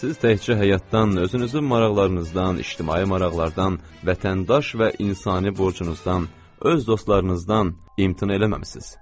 Siz təkcə həyatdan, özünüzü maraqlarınızdan, ictimai maraqlardan, vətəndaş və insani borcunuzdan, öz dostlarınızdan imtina eləməmisiz.